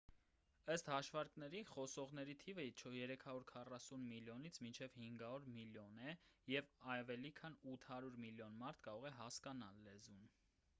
ըստ հաշվարկների խոսողների թիվը 340 միլիոնից մինչև 500 միլիոն է և ավելի քան 800 միլիոն մարդ կարող է հասկանալ լեզուն